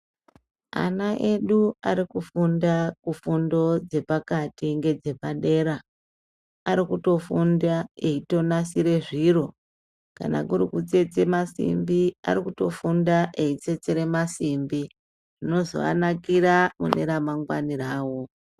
Ana edu arikufunda kufundo dzapakati nedzepadera aeikutofunda einasira zviro kana kuri kutsetsa masimbi aeikutofunda eitsetsa masimbi zvinozowanakira mune ramangwani rawo.